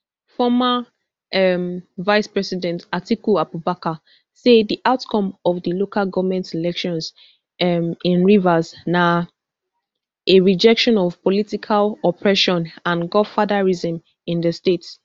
former um vicepresident atiku abubakar say di outcome of di local goment elections um in rivers na a rejection of political oppression and godfatherism in di state